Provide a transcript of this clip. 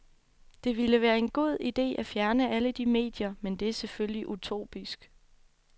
Det ville være en god idé at fjerne alle de medier, men det er selvfølgelig utopisk.